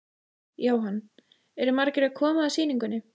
Jóhann: Eru margir sem koma að sýningunni?